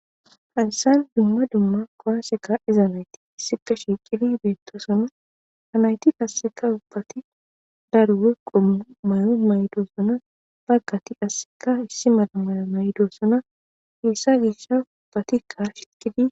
Hayssan dumma dumma kuwaase kaa7ida na7ithi issippe shiiqidi beeththoosona;ha na7ithi qassika ubbathi daro qommo mayuwa mayidosona;baggathi qassikka issi mala mayuwa mayidosona;heysa ubbathikka xaaxeththidi.